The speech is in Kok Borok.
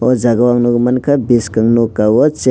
o jaga ang nogmangka boskango no kogosh.